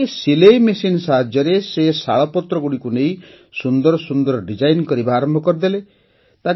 ଗୋଟିଏ ସିଲେଇ ମେସିନ୍ ସାହାଯ୍ୟରେ ସେ ଶାଳପତ୍ରଗୁଡ଼ିକୁ ନେଇ ବହୁତ ସୁନ୍ଦର ଡିଜାଇନ୍ କରିବା ଆରମ୍ଭ କରିଦେଲେ